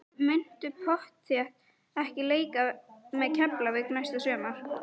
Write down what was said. Muntu pottþétt ekki leika með Keflavík næsta sumar?